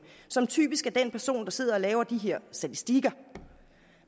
som typisk er den person der sidder og laver de her statistikker